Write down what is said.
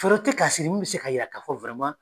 Foro tɛ k'a sɛnɛ min bɛ se ka yira k'a fɔ